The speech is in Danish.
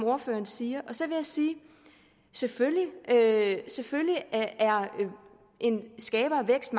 ordføreren siger så vil jeg sige at selvfølgelig skaber vækst